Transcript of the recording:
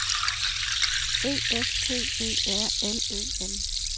E F T E R L Ø N